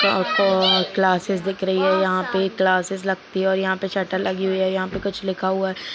Classes दिख रही है यंहा पे क्लाससेस लगती है और यंहा पर शटर लगी हुई है और यहां पे कुछ लिखा हुआ है।